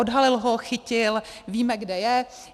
Odhalil ho, chytil, víme, kde je.